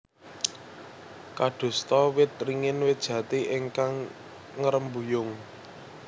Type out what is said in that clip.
Kadosta wit ringin wit jati ingkang ngrembuyung